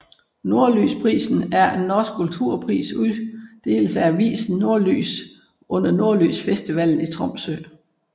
Nordlysprisen er en norsk kulturpris som uddeles af avisen Nordlys under Nordlysfestivalen i Tromsø